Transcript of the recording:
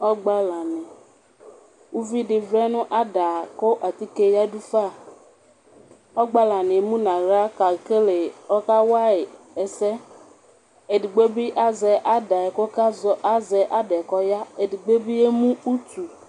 Ɔgbalani, ʋvidi vlɛnʋ ada kʋ atike yadʋ fa, ɔgbalani emʋnʋ aɣla kʋ ɔkawayi ɛsɛ edigbo bi azɛ ada yɛ kʋ azɔ ada yɛ kʋ ɔya edigbo bi emʋ utu